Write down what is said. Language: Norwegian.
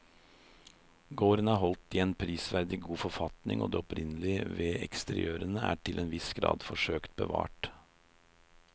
Gården er holdt i en prisverdig god forfatning og det opprinnelige ved eksteriørene er til en viss grad forsøkt bevart.